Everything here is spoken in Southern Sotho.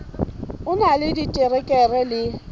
o na le diterekere le